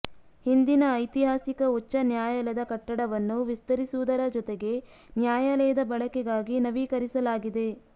ಹಿಂದಿನ ಐತಿಹಾಸಿಕ ಉಚ್ಚ ನ್ಯಾಯಾಲಯದ ಕಟ್ಟಡವನ್ನು ವಿಸ್ತರಿಸುವುದರ ಜೊತೆಗೆ ನ್ಯಾಯಾಲಯದ ಬಳಕೆಗಾಗಿ ನವೀಕರಿಸಲಾಗಿದೆ